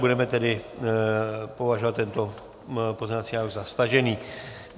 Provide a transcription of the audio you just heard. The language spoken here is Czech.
Budeme tedy považovat tento pozměňovací návrh za stažený.